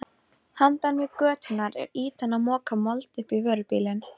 Handan götunnar er ýtan að moka mold upp á vörubíl.